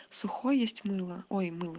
сухой есть мыло ой мыло